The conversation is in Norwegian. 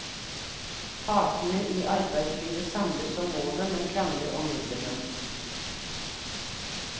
Partene i arbeidslivet samles om målet, men krangler om midlene.